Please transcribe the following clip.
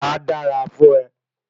A dára fún e